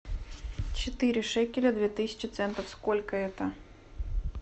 четыре шекеля две тысячи центов сколько это